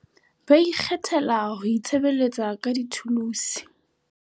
BA IKGETHELA HO ITSHEBELETSA KA DITHULUSE.